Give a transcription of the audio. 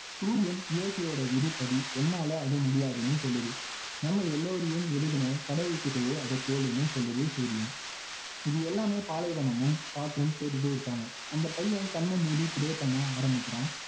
சூரியன் இயற்கையோட விதிப்படி என்னால அது முடியாதுன்னு சொல்லுது நம்ம எல்லோரையும் எழுதுன கடவுள்கிட்டயே அதை கேளுன்னு சொல்லுது சூரியன் இது எல்லாமே பாலைவனமும் காற்றும் கேட்டுட்டே இருக்காங்க அந்த பையன் கண்ணை மூடி pray பண்ண ஆரமிக்கிறான்